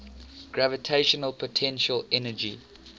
gravitational potential energy